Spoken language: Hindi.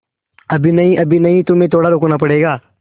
अभी नहीं अभी नहीं तुम्हें थोड़ा रुकना पड़ेगा